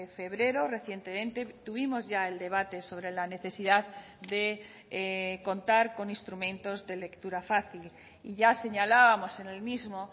febrero recientemente tuvimos ya el debate sobre la necesidad de contar con instrumentos de lectura fácil y ya señalábamos en el mismo